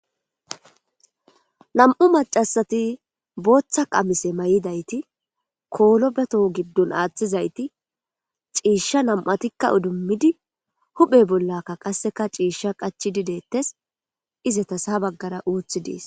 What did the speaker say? Nam'u macasati booththa qamise may'idayti koolo beto giddun aaththizayti ciisha nam'atikka udummidi huphe bollaka qasseka ciishsha qachi didettes izetasha baggara uuthi dees.